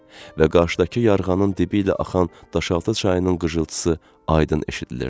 Və qarşıdakı yarğanın dibi ilə axan daşaltı çayının qırıltısı aydın eşidilirdi.